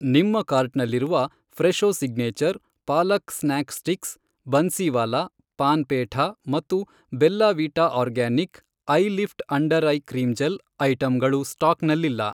ನಿಮ್ಮ ಕಾರ್ಟ್ನಲ್ಲಿರುವ Fresho signature, palak snack sticks, Bansiwala, paan petha, ಮತ್ತು Bella Vita organic, eyelift under eye cream gel, ಐಟಂಗಳು ಸ್ಟಾಕ್ನಲ್ಲಿಲ್ಲ.